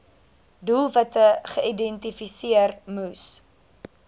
doelwitte geïdentifiseer moes